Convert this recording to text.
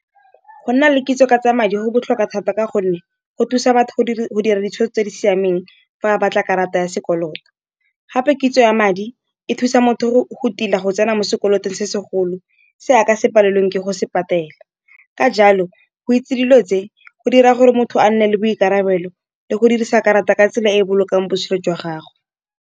Go nna le kitso ka tsa madi go botlhokwa thata, ka gonne go thusa batho go dira ditshwetso tse di siameng fa o batla karata ya sekoloto. Gape kitso ya madi e thusa motho go tila go tsena mo sekoloto se segolo, se a ka se palelweng ke go se patela. Ka jalo go itse dilo tse, go dira gore motho a nne le boikarabelo le go dirisa karata ka tsela e e bolokang botshelo jwa gagwe.